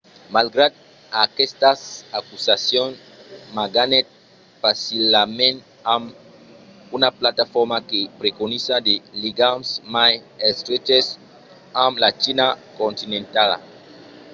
malgrat aquestas acusacions ma ganhèt facilament amb una plataforma que preconizava de ligams mai estreches amb la china continentala